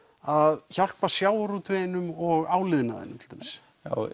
að hjálpa sjávarútveginum og áliðnaðinum til dæmis